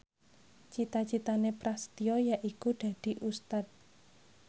cita citane Prasetyo yaiku dadi Ustad